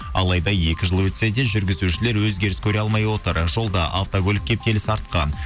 алайда екі жыл өтсе де жүргізушілер өзгеріс көре алмай отыр жолда автокөлік кептелісі артқан